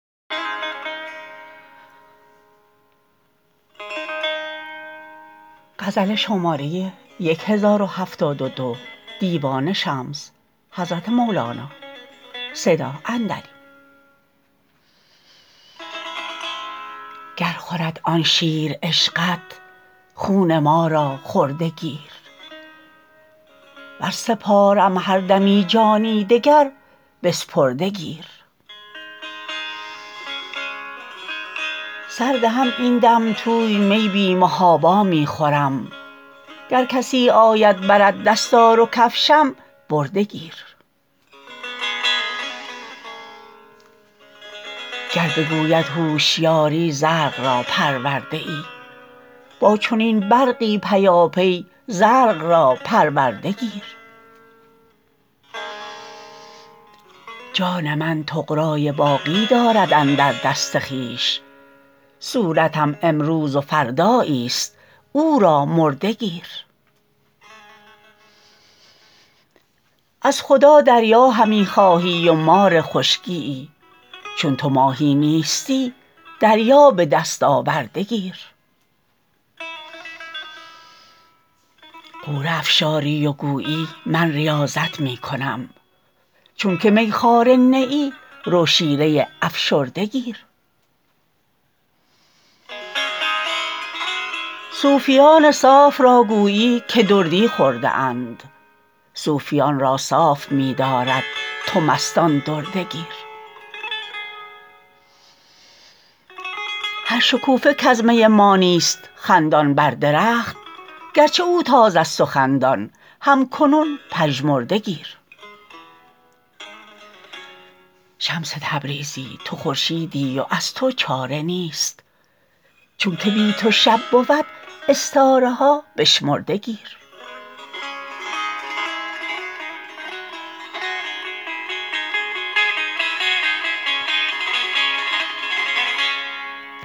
گر خورد آن شیر عشقت خون ما را خورده گیر ور سپارم هر دمی جان دگر بسپرده گیر سردهم این دم توی می بی محابا می خورم گر کسی آید برد دستار و کفشم برده گیر گر بگوید هوشیاری زرق را پرورده ای با چنین برقی پیاپی زرق را پرورده گیر جان من طغرای باقی دارد اندر دست خویش صورتم امروز و فردایی ست او را مرده گیر از خدا دریا همی خواهی و مار خشکی یی چون تو ماهی نیستی دریا به دست آورده گیر غوره افشاری و گویی من ریاضت می کنم چونک میخواره نه ای رو شیره افشرده گیر صوفیان صاف را گویی که دردی خورده اند صوفیان را صاف می دارد تو بستان درده گیر هر شکوفه کز می ما نیست خندان بر درخت گرچه او تازه ست و خندان هم کنون پژمرده گیر شمس تبریزی تو خورشیدی و از تو چاره نیست چونک بی تو شب بود استاره ها بشمرده گیر